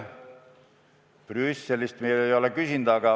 Brüsselilt me ei ole küsinud.